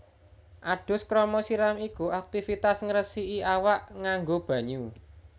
Adus krama siram iku aktivitas ngresiki awak nganggo banyu